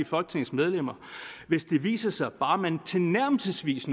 folketingets medlemmer hvis det viser sig at man bare tilnærmelsesvis